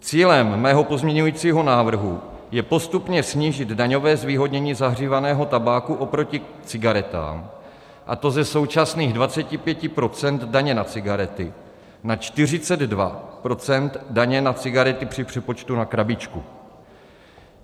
Cílem mého pozměňovacího návrhu je postupně snížit daňové zvýhodnění zahřívaného tabáku oproti cigaretám, a to ze současných 25 % daně na cigarety na 42 % daně na cigarety při přepočtu na krabičku.